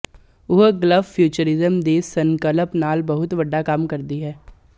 ਉਹ Gulf futurism ਦੀ ਸੰਕਲਪ ਨਾਲ ਬਹੁਤ ਵੱਡਾ ਕੰਮ ਕਰਦੀ ਹੈ